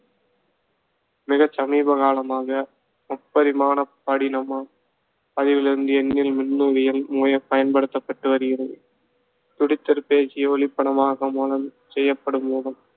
மிகச் சமீபகாலமாக முப்பரிமாணப் படினம பதிவிலிருந்து மின்னணுவியல் முறை பயன்படுத்தப்பட்டு வருகிறது. துடித்திறப் பேசி ஒளிப்படமாக மூலம் செய்யப்படும் மூலம்